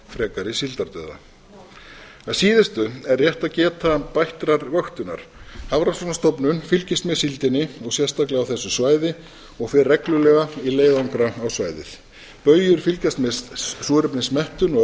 frekari síldardauða að síðustu er rétt að geta bættrar vöktunar hafrannsóknastofnun fylgist með síldinni og sérstaklega á þessu svæði og fer reglulega í leiðangra á svæðið baujur fylgjast með súrefnismettun og